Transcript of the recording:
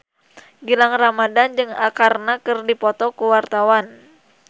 Gilang Ramadan jeung Arkarna keur dipoto ku wartawan